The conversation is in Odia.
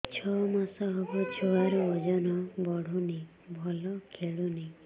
ଛଅ ମାସ ହବ ଛୁଆର ଓଜନ ବଢୁନି ଭଲ ଖେଳୁନି